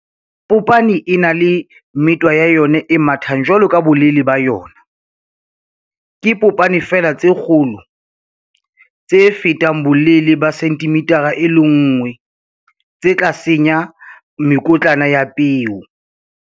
Popane e na le metwa ya yona e mathang jwalo le bolelele ba yona. Ke popane feela tse kgolo tse fetang bolelele ba 1 cm tse tla senya mekotlana ya peo.